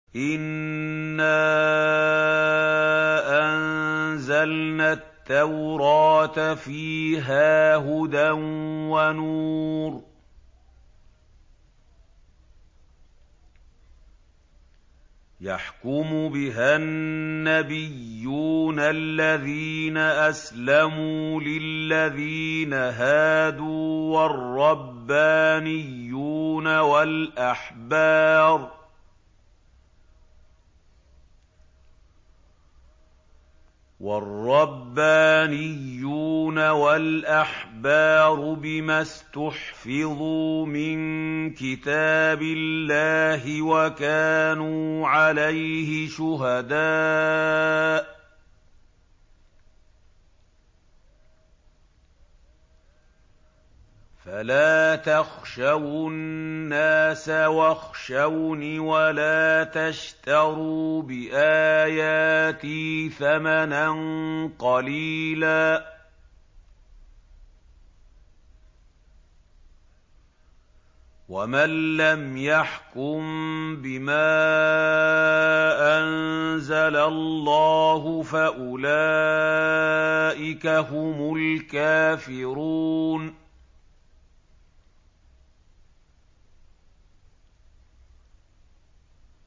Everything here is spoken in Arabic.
إِنَّا أَنزَلْنَا التَّوْرَاةَ فِيهَا هُدًى وَنُورٌ ۚ يَحْكُمُ بِهَا النَّبِيُّونَ الَّذِينَ أَسْلَمُوا لِلَّذِينَ هَادُوا وَالرَّبَّانِيُّونَ وَالْأَحْبَارُ بِمَا اسْتُحْفِظُوا مِن كِتَابِ اللَّهِ وَكَانُوا عَلَيْهِ شُهَدَاءَ ۚ فَلَا تَخْشَوُا النَّاسَ وَاخْشَوْنِ وَلَا تَشْتَرُوا بِآيَاتِي ثَمَنًا قَلِيلًا ۚ وَمَن لَّمْ يَحْكُم بِمَا أَنزَلَ اللَّهُ فَأُولَٰئِكَ هُمُ الْكَافِرُونَ